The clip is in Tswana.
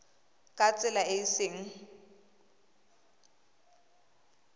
ka tsela e e seng